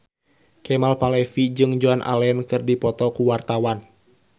Kemal Palevi jeung Joan Allen keur dipoto ku wartawan